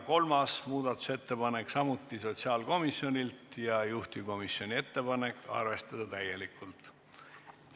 Kolmas muudatusettepanek on samuti sotsiaalkomijonilt ja juhtivkomisjoni ettepanek: arvestada täielikult.